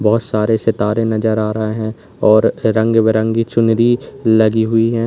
बहोत सारे सितारे नज़र आ रहे हैं और रंग बिरंगी चुनरी लगी हुई हैं।